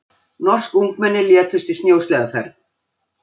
Norsk ungmenni létust í snjósleðaferð